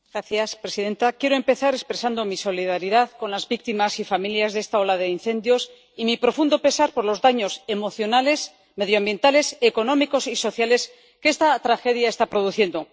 Señora presidenta, quiero empezar expresando mi solidaridad con las víctimas y familias de esta ola de incendios y mi profundo pesar por los daños emocionales, medioambientales, económicos y sociales que esta tragedia está produciendo.